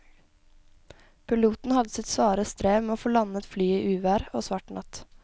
Piloten hadde sitt svare strev med å få landet flyet i uvær og svart natt.